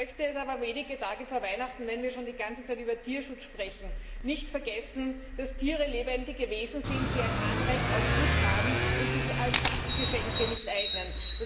Ich möchte aber wenige Tage vor Weihnachten nicht vergessen, wenn wir schon die ganze Zeit über Tierschutz sprechen, darauf hinzuweisen, dass Tiere lebendige Wesen sind, die ein Anrecht auf Schutz haben, und sich als Sachgeschenke nicht eignen.